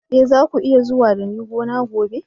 Eh, za ku iya zuwa da ni gona gobe.